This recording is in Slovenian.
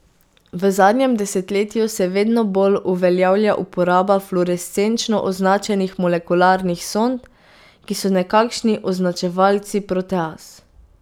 V zadnjem desetletju se vedno bolj uveljavlja uporaba fluorescenčno označenih molekularnih sond, ki so nekakšni označevalci proteaz.